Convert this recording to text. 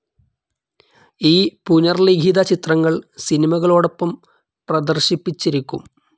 ഈ പുനർലിഖിത ചിത്രങ്ങൾ സിനിമകളോടൊപ്പം പ്രദർശിപ്പിച്ചിരിക്കും.